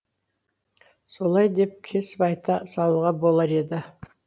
солай деп кесіп айта салуға болар еді